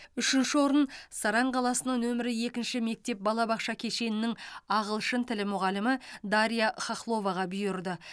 үшінші орын саран қаласының нөмірі екінші мектеп балабақша кешенінің ағылшын тілі мұғалімі дарья хохловаға бұйырды